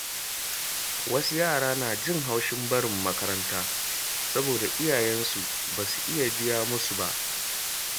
Wasu yara na jin haushin barin makaranta saboda iyayensu ba su iya biya musu ba.